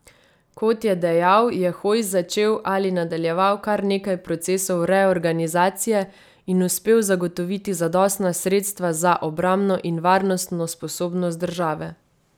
Kot je dejal, je Hojs začel ali nadaljeval kar nekaj procesov reorganizacije in uspel zagotoviti zadostna sredstva za obrambno in varnostno sposobnost države.